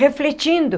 Refletindo.